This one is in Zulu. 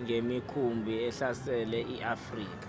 ngemikhumbi ahlasele i-afrika